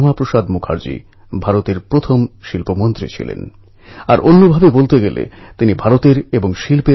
ভগবান বিট্ঠল যাঁকে বিঠোবা বা পাণ্ডুরঙ্গও বলা হয় তাঁর দর্শনের জন্য ভক্তরা ওখানে পৌঁছন